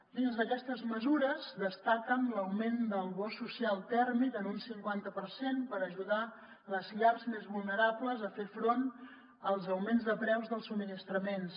dins d’aquestes mesures destaquen l’augment del bo social tèrmic en un cinquanta per cent per ajudar les llars més vulnerables a fer front als augments de preus dels subministraments